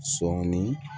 Sɔɔni